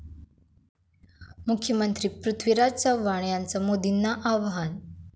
मुख्यमंत्री पृथ्वीराज चव्हाण यांचं मोदींना आव्हान